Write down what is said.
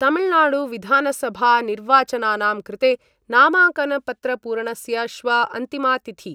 तमिलनाडुविधानसभानिर्वाचनानां कृते नामाङ्कनपत्रपूरणस्य श्व अन्तिमा तिथि।